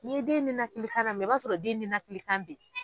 Ni ye den nena kilikan na mɛ i b'a sɔrɔ den nena kilikan be ye.